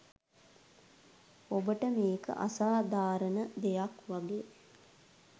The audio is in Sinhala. ඔබට මේක අසාධාරණ දෙයක් වගේ